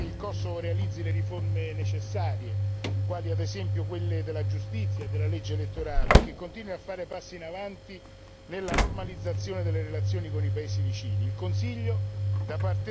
Adesso è fondamentale che il Kosovo realizzi le riforme necessarie, quali ad esempio quelle della giustizia e della legge elettorale, e che continui a fare passi avanti nella normalizzazione delle relazioni con i paesi vicini.